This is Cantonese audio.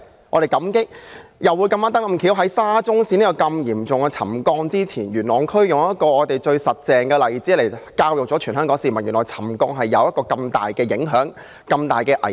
我們感激的是，發現沙中線嚴重沉降事件之前，元朗區剛巧有一個最真實的例子教育全香港市民，原來沉降有這麼大的影響和危險。